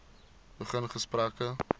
begin gesprekke